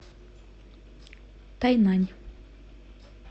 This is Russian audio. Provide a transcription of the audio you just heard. тайнань